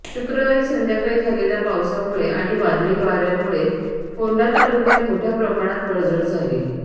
शुक्रवारी संध्याकाळी झालेल्या पावसामुळे आणि वादळी वाऱ्यामुळे फोंडा तालुक्यात मोठय़ा प्रमाणात पडझड झाली